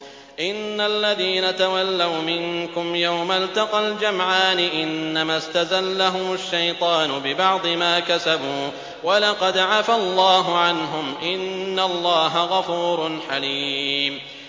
إِنَّ الَّذِينَ تَوَلَّوْا مِنكُمْ يَوْمَ الْتَقَى الْجَمْعَانِ إِنَّمَا اسْتَزَلَّهُمُ الشَّيْطَانُ بِبَعْضِ مَا كَسَبُوا ۖ وَلَقَدْ عَفَا اللَّهُ عَنْهُمْ ۗ إِنَّ اللَّهَ غَفُورٌ حَلِيمٌ